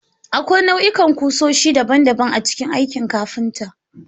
Akwai nau'ikan kusoshi daban-daban a cikin aikin kafinta.